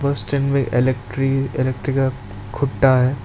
बस स्टैंड में electric electric खुट्टा है।